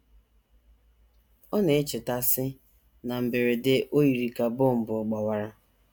Ọ na - echeta, sị: “ Na mberede, o yiri ka bọmbụ ọ̀ gbawara.